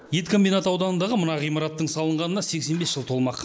ет комбинаты ауданындағы мына ғимараттың салынғанына сексен бес жыл толмақ